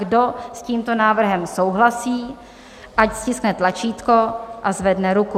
Kdo s tímto návrhem souhlasí, ať stiskne tlačítko a zvedne ruku.